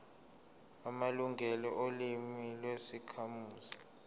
amalungelo olimi lwezakhamuzi